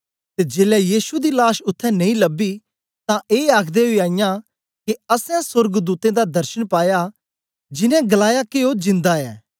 ते जेलै यीशु दी लाश उत्थें नेई लबी तां ए आखदे ओई आईयां के असैं सोर्गदूतें दा दर्शन पाया जिन्नें गलाया के ओ जिन्दा ऐ